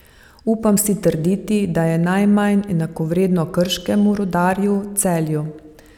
Upam si trditi, da je najmanj enakovredno Krškemu, Rudarju, Celju.